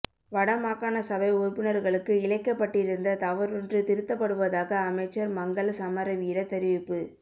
வட மாகாண சபை உறுப்பினர்களுக்கு இழைக்கப்பட்டிருந்த தவறொன்று திருத்தப்படுவதாக அமைச்சர் மங்கள சமரவீர தெரிவிப்பு